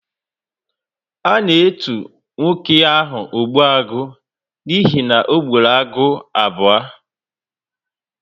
A na etu nwoke ahu 'Ogbuagu' n'ihi na ọ ogburu agụ abuo